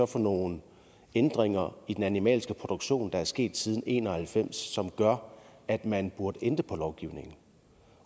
for nogle ændringer i den animalske produktion der er sket siden nitten en og halvfems som gør at man burde ændre på lovgivningen